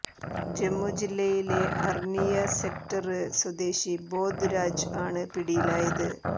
ജമ്മു ജില്ലയിലെ അര്നിയ സെക്ടര് സ്വദേശി ബോധ് രാജ് ആണ് പിടിയിലായത്